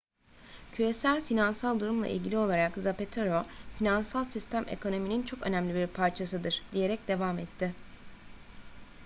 küresel finansal durumla ilgili olarak zapatero finansal sistem ekonominin çok önemli bir parçasıdır diyerek devam etti